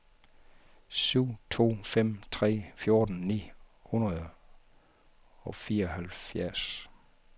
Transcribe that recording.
syv to fem tre fjorten ni hundrede og fireoghalvfjerds